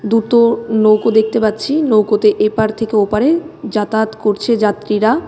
দুতো নৌকো দেখতে পাচ্ছি নৌকাতে এপার থেকে ওপারে যাতায়াত করছে যাত্রীরা.